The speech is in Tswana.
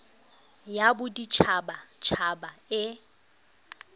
ya bodit habat haba e